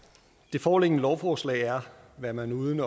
foreliggende lovforslag er hvad man uden